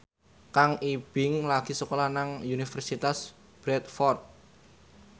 Kang Ibing lagi sekolah nang Universitas Bradford